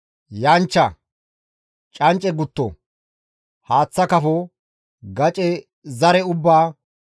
yanchcha, cancce gutto, haaththa kafo, gace zare ubbaa,